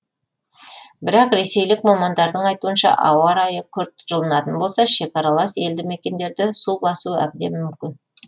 бірақ ресейлік мамандардың айтуынша ауа райы күрт жылынатын болса шекаралас елді мекендерді су басу әбден мүмкін